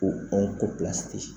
Ko ɔn ko pilsi te yen